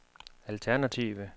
alternative